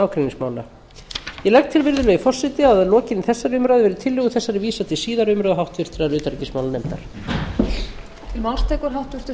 ágreiningsmála ég legg til virðulegi forseti að að lokinni þessari umræðu verði tillögu þessari vísað til síðari umræðu og háttvirtrar